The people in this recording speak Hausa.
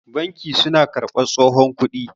banki suna karbar tsohon kudi